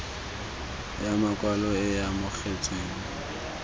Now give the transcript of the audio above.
ya makwalo e e amogetsweng